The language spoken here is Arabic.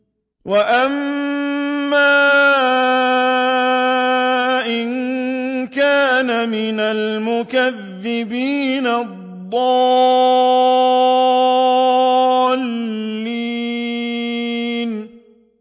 وَأَمَّا إِن كَانَ مِنَ الْمُكَذِّبِينَ الضَّالِّينَ